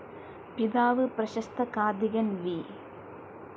പിതാവ് പ്രശസ്ത കാഥികൻ വി.